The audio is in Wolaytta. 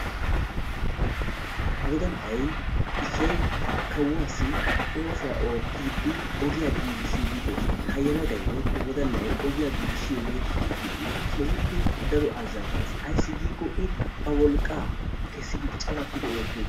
Wodalay issoy kawuassi oossuwa oottiidi ogiyaa giggisside dees. Ha wodalay woykko yelagay ogiyaa giigissiyooge woykko pittiyooge keehippe daro ayssi giiko I ba wolqqaa keessidi cawattidi oottiyoge.